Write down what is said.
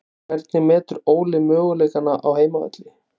Hvernig metur Óli möguleikana á heimavelli?